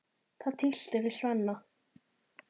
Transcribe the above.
Það tístir í Svenna.